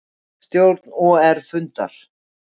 Stjórn OR fundar